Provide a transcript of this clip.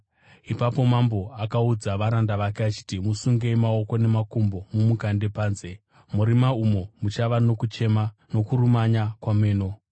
“Ipapo mambo akaudza varanda vake akati, ‘Musungei maoko namakumbo mumukande panze, murima, umo muchava nokuchema nokurumanya kwameno.’